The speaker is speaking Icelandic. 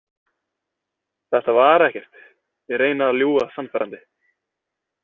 Þetta var ekkert, ég reyni að ljúga sannfærandi.